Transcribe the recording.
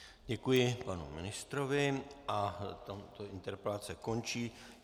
Děkuji panu ministrovi a tato interpelace končí.